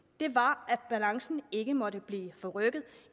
var at balancen ikke måtte blive forrykket